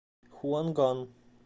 хуанган